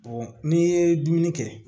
n'i ye dumuni kɛ